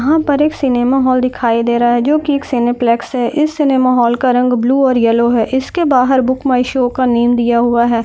यहा पर एक सिनेमा हॉल दिखाई दे रहा है जो की सिनेप्लेक्स है इस सिनेमा हॉल का रंग ब्लू और येलो है इसके बाहर बुक माय शो का नेम दिया हुआ है।